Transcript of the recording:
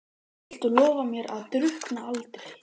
Viltu lofa mér að drukkna aldrei?